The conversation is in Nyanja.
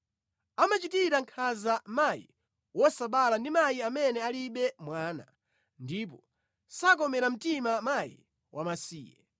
Amachitira nkhanza mayi wosabala ndi mayi amene alibe mwana, ndipo sakomera mtima mkazi wamasiye.